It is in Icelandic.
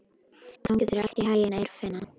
Gangi þér allt í haginn, Eirfinna.